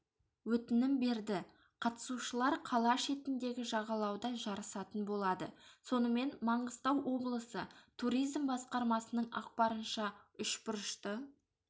өтінім берді қатысушылар қала шетіндегі жағалауда жарысатын болады сонымен маңғыстау облысы туризм басқармасының ақпарынша үшбұрышты